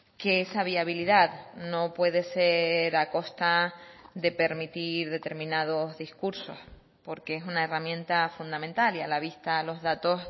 que esa viabilidad no puede ser a costa de permitir determinados discursos porque es una herramienta fundamental y a la vista los datos